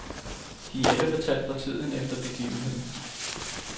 De er alle fortalt fra tiden efter begivenheden.